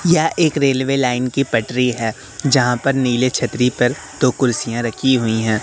यह एक railway line की पटरी है जहां पर नील छतरी पर दो कुर्सियां रखी हुई है।